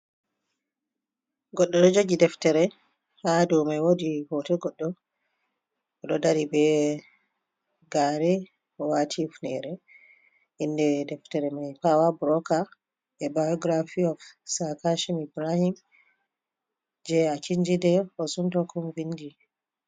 Goɗɗo ɗo jogi deftare ,haa dow may woodi hooto goɗɗo ɗo dari be gaare waati hufneere. Inde deftere may paawa burooka, nde bayogiraafi oof Saa Kashim Ibrahim jey Akinjide Osuntokun vinndi.